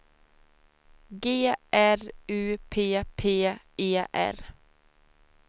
G R U P P E R